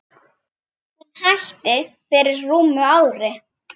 Hún hætti fyrir rúmu ári.